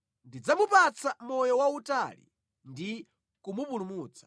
Ndidzamupatsa moyo wautali ndi kumupulumutsa.”